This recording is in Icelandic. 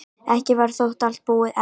Ekki var þó allt búið enn.